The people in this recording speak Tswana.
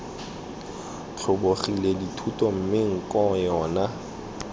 tlhobogile dithuto mme nko yona